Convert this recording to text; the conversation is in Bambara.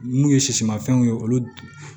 N'u ye sisimafɛnw ye olu